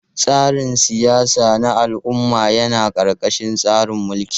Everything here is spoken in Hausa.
Tsarin siyasa na al'umma yana ƙarƙashin tsarin mulki.